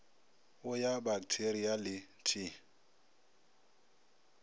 o ya baktheria le t